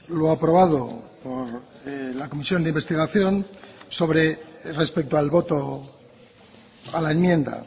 lo aprobado por la comisión de investigación sobre respecto al voto a la enmienda